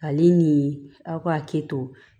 Ale ni aw ka hakili to